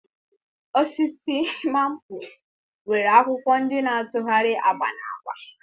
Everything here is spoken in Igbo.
Osisi maple nwere akwụkwọ ndị na-atụgharị agba na agba